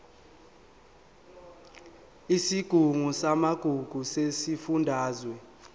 isigungu samagugu sesifundazwe